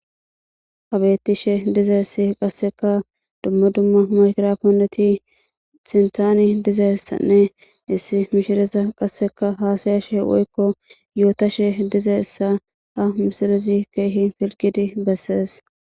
Hay betishe dizayssi qasika dumma dumma maygraponeti .